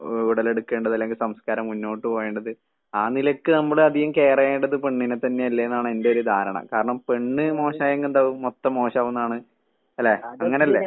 ഉടലെടുക്കേണ്ടത് അല്ലെങ്കി സംസ്കാരം മുന്നോട്ട് പോവേണ്ടത്. ആ നിലക്ക് നമ്മളധികം കെയറ് ചെയ്യേണ്ടത് പെണ്ണിനെ തന്നെ അല്ലേന്നാണ്‌ എന്റെ ഒരു ധാരണ. കാരണം പെണ്ണ് മോശായെങ്കി എന്താവും മൊത്തം മോശാവൂന്നാണ്‌ അല്ലെ അങ്ങനെ അല്ലെ?